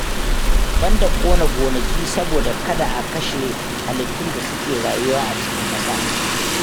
Banda ƙona gonaki saboda kada a kashe halittun da suke rayuwa a cikin ƙasa